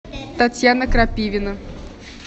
татьяна крапивина